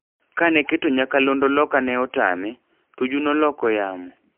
Kane keto nyakalando loka ne otame, Tuju noloko yamo.